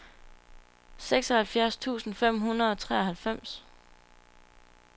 seksoghalvfjerds tusind fem hundrede og treoghalvfems